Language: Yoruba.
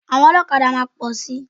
Àwọn ọlọ́kadà máa pọ̀ si.